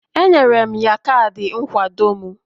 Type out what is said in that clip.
Enyere m ya kaadị nkwado m